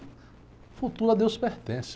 O futuro a Deus pertence.